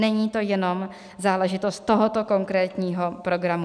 Není to jenom záležitost tohoto konkrétního programu.